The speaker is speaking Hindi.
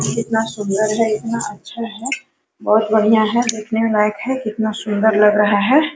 कितना सुन्दर है इतना अच्छा है बहुत बढ़िया है देखने लायक है कितना सुन्दर लग रहा है।